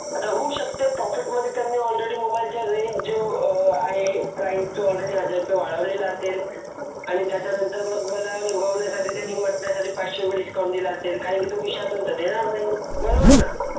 होऊ शकते पाकीट मध्ये त्यांनी आलरेडी मोबाइल रेंज जे आहे हजार रुपये वाढवलेले असेल आणि त्याच्यानंतर मग मला पाचशे रुपये डिस्काउंट दिला असेल काही खिशातून देणार नाही बरोबर